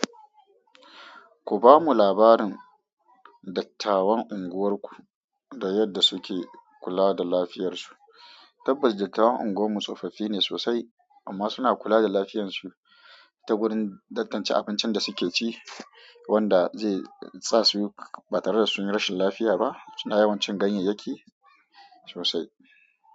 Ku bamu labarin dattawan unguwar ku da yadda suke kula da lafiyar su. Tabbas dattawan unguwar tsofaffine sosai amma suna kula da lafiyar su ta wurin tantance abincin da suke ci wanda zai sa su ba tare da sun yi rashin lafiya ba. Suna yawancin ganyayyaki sosai.